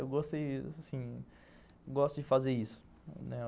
Eu gostei, assim... Gosto de fazer isso, né?